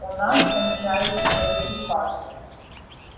у нас кончаются боеприпасы